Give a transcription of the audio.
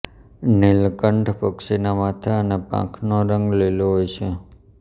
નીલકંઠ પક્ષીના માથા અને પાંખોનો રંગ લીલો હોય છે